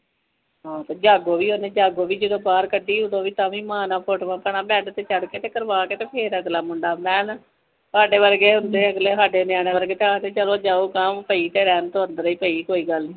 ਹਾਂ ਜਾਗੋ ਵੀ ਓਹਨੇ ਜਾਗੋ ਫੀ ਜਦੋ ਬਾਹਰ ਕੱਢੀ ਓਦੋ ਵੀ ਤਾਵੀ ਮਾਂ ਨਾਲ ਫੋਟਵਾ ਬੈਡ ਤੇ ਚੜ੍ਹ ਕੇ ਕਰਵਾ ਕੇ ਤੇ ਨਾਲ ਤੁਵਾੜੇ ਵਰਗੇ ਹੁੰਦੈ ਅਗਲੇ ਸਾਡੇ ਨਿਆਣੇ ਵਰਗੇ ਜਾਓ ਗਾ ਪਹੀ ਤਾ ਰਹਿਣ ਤੋਂ ਅੰਦਰੇ ਪਹੀ ਕੌਹੀ ਗ੍ਹਲ਼ ਨਹੀਂ